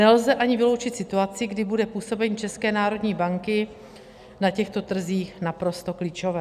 Nelze ani vyloučit situaci, kdy bude působení České národní banky na těchto trzích naprosto klíčové.